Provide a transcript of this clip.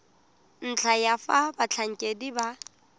ntlha ya fa batlhankedi ba